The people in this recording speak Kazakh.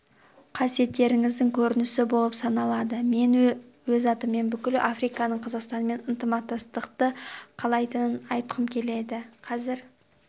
қасиеттеріңіздің көрінісі болып саналады мен өз атымнан бүкіл африканың қазақстанмен ынтымақтастықты қалайтынын айтқым келеді қазір